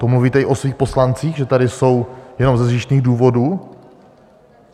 To mluvíte i o svých poslancích, že tady jsou jenom ze zištných důvodů?